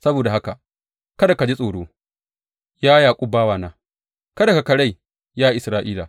Saboda haka kada ka ji tsoro, ya Yaƙub bawana; kada ka karai, ya Isra’ila,’